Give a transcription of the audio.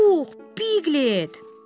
Puh, Pilet!